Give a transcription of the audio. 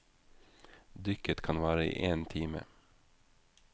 Dykket kan vare i én time.